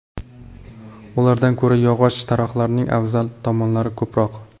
Ulardan ko‘ra yog‘och taroqlarning afzal tomonlari ko‘proq.